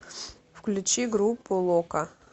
включи группу лока